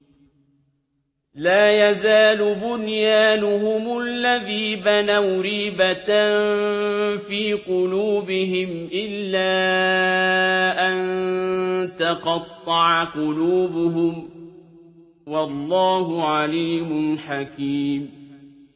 لَا يَزَالُ بُنْيَانُهُمُ الَّذِي بَنَوْا رِيبَةً فِي قُلُوبِهِمْ إِلَّا أَن تَقَطَّعَ قُلُوبُهُمْ ۗ وَاللَّهُ عَلِيمٌ حَكِيمٌ